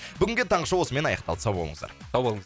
бүгінге таңғы шоу осымен аяқталды сау болыңыздар сау болыңыз